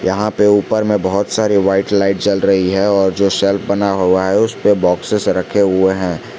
यहां पे ऊपर में बहुत सारी व्हाइट लाइट जल रही है और जो शेल्फ बना हुआ है उस पे बॉक्सेस रखे हुए हैं।